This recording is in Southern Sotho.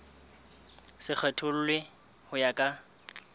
se kgethollwe ho ya ka